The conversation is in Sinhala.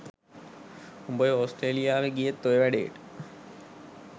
උඹ ඔය ඕස්ට්‍රේලියාවේ ගියෙත් ඔය වැඩේට